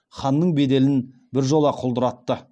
ханның беделін біржола құлдыратты